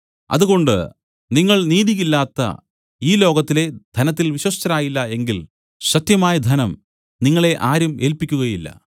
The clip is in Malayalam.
അതുകൊണ്ട് നിങ്ങൾ നീതി ഇല്ലാത്ത ഈ ലോകത്തിലെ ധനത്തിൽ വിശ്വസ്തരായില്ല എങ്കിൽ സത്യമായ ധനം നിങ്ങളെ ആരും ഏല്പിക്കുകയില്ല